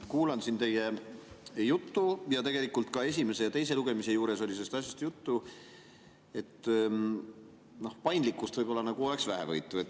Kuulan siin teie juttu ja tegelikult ka esimese ja teise lugemise juures oli sellest asjast juttu, et paindlikkust võib-olla oleks nagu vähevõitu.